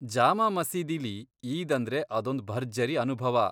ಜಾಮಾ ಮಸೀದಿಲಿ ಈದ್ ಅಂದ್ರೆ ಅದೊಂದ್ ಭರ್ಜರಿ ಅನುಭವ.